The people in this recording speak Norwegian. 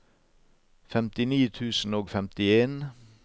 femtini tusen og femtien